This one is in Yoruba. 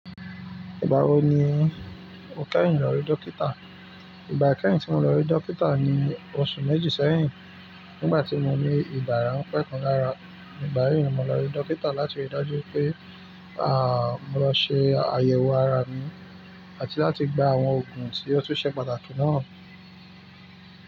Ìgbà wo ni o kẹ́hìn lọ rí dókítà? Ìgbà kẹ́hìn tí mo lọ rí dókítà ni oṣù méjì sẹ́yìn, nígbà tí mo ní ibà ránpẹ̀ kan lára. Igbà yíì ni mo lọ rí dókítà láti rí i dájú pé àà, mo lọ ṣe àyẹ̀wò ara mi àti láti gba àwọn òògùn tí óò tun ṣe pàtàkì náà.